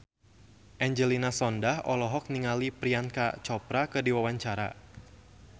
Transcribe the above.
Angelina Sondakh olohok ningali Priyanka Chopra keur diwawancara